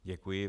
Děkuji.